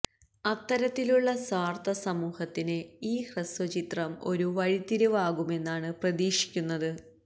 അത്തരത്തിലുള്ള സ്വാര്ത്ഥ സമൂഹത്തിന് ഈ ഹ്രസ്വചിത്രം ഒരു വഴിത്തിരിവ് ആകുമെന്നാണ് പ്രതീക്ഷിക്കുന്നത്